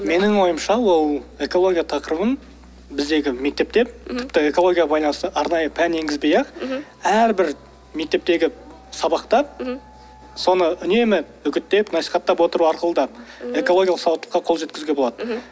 менің ойымша ол экология тақырыбын біздегі мектепте тіпті экологияға байланысты арнайы пән енгізбей ақ мхм әрбір мектептегі сабақта соны үнемі үгіттеп насихаттап отыру арқылы да экологиялық сауаттылыққа қол жеткізуге болады мхм